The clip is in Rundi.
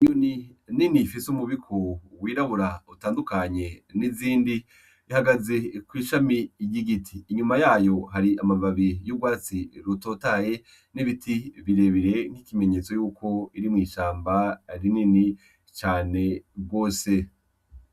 Inyoni nini ifise umubiku wirabura utandukanye n'izindi ihagaze kwishami ry'igiti, inyuma yayo hari amababi y'urwatsi rutotaye n'ibiti birebire, n'ikimenyetso yuko ari mwishamba rinini cane gose.